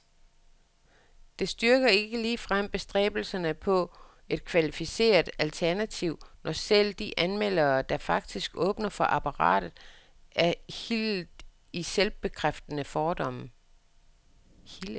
Det styrker ikke ligefrem bestræbelserne på et kvalificeret alternativ, når selv de anmeldere, der faktisk åbner for apparatet, er hildet i selvbekræftende fordomme.